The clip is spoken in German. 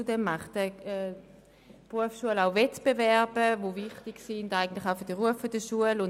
Zudem führt die Berufsschule Wettbewerbe durch, die auch für den Ruf der Schule wichtig sind.